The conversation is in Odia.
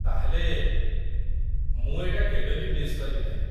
ତା'ହେଲେ, ମୁଁ ଏଇଟା କେବେ ବି ମିସ୍ କରିବି ନାହିଁ ।